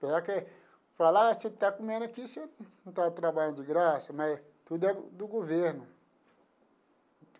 Apesar que fala, ah você está comendo aqui, você não está trabalhando de graça, mas tudo é do governo.